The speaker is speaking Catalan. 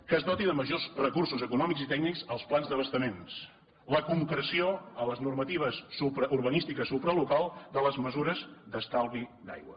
que es doti de majors recursos econòmics i tècnics els plans d’abastaments la concreció a les normatives urbanístiques supralocals de les mesures d’estalvi d’aigua